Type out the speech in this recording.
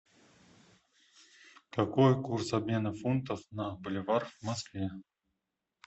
какой курс обмена фунтов на боливар в москве